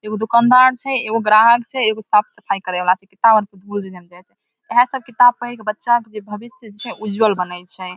एगो दुकानदार छै एगो ग्राहक छै एगो साफ़ सफाई करे वाला छै किताब आर के इहा सब किताब पढ़ के बच्चा सब के भविष्य जे छै उज्जवल बनय छै ।